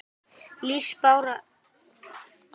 Lífsbarátta síla er hörð og óvinir þeirra margir.